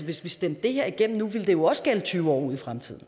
hvis vi stemte det her igennem nu ville det jo også gælde i tyve år ud i fremtiden